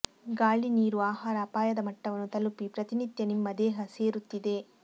ಗಾಳಿ ನೀರು ಆಹಾರ ಅಪಾಯದ ಮಟ್ಟವನ್ನು ತಲುಪಿ ಪ್ರತಿನಿತ್ಯ ನಿಮ್ಮ ದೇಹ ಸೇರುತ್ತಿದೆ